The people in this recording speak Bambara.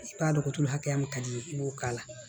gotoro hakɛya min ka di i ye i b'o k'a la